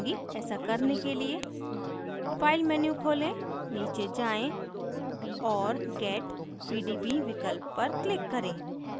ऐसा करने के लिए file menu खोलें नीचे जाएँ और get pdb विकल्प पर click करें